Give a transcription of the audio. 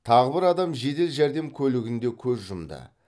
тағы бір адам жедел жәрдем көлігінде көз жұмды